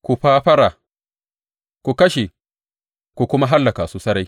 Ku fafara, ku kashe kuma hallaka su sarai,